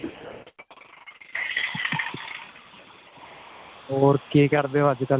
ਹੋਰ ਕੀ ਕਰਦੇ ਹੋ ਅੱਜਕਲ੍ਹ?